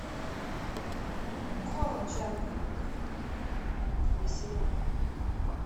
корм чаппи двести граммов